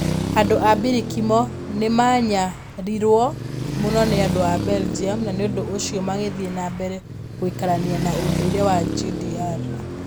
Andũ a Mbilikimo nĩ maanyaririrũo mũno nĩ andũ a Belgium na nĩ ũndũ ũcio magĩthiĩ na mbere gũikarania na ũndũire wa GDR